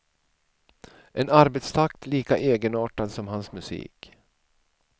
En arbetstakt lika egenartad som hans musik.